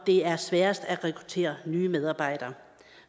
det er sværest at rekruttere nye medarbejdere